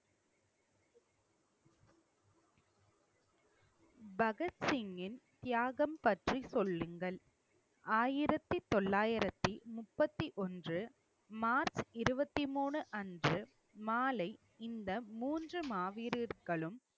பகத்சிங்கின் தியாகம் பற்றி, சொல்லுங்கள் ஆயிரத்தி தொள்ளாயிரத்தி முப்பத்தி ஒன்று மார்ச் இருபத்தி மூணு அன்று மாலை இந்த மூன்று மாவீரர்களும்